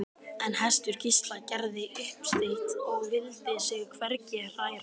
En hestur Gísla gerði uppsteyt og vildi sig hvergi hræra.